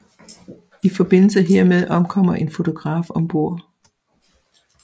I forbindelse hermed omkommer en fotograf om bord